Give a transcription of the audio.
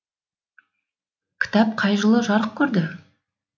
кітап қай жылы жарық көрді